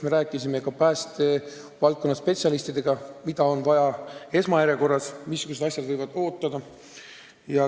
Me rääkisime ka päästevaldkonna spetsialistidega, mida on vaja teha esmajärjekorras ja mis asjad võivad oodata.